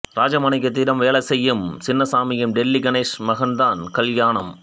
ராஜமாணிக்கத்திடம் வேலை செய்யும் சின்னசாமியின் டெல்லி கணேஷ் மகன்தான் கல்யாணம்